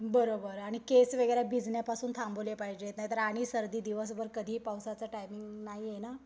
बरोबर आणि केस वगैरे भिजण्यापासून थांबवले पाहिजेत नाहीतर आणि सर्दी दिवसभर कधीही पावसाचं टाईमिंग नाहीये ना.